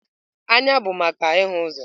Anya bụ maka ịhụ ụzọ.